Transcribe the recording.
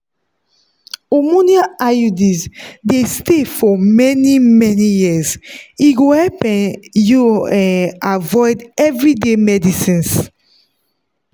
hormonal iuds dey stay for many-many years e go help um you um avoid everyday medicines